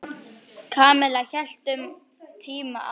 Kamilla hélt um tíma að